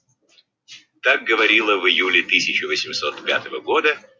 как говорила в июле тысяча восемьсот пятого года